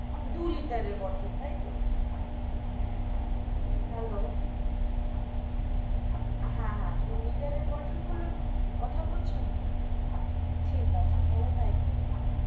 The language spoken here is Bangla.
দু liter এর bottle তাই তো hello হা হা দু liter এর bottle গুলোর কথা বলছেন তো ঠিক আছে তাহলে তাই করে দিন.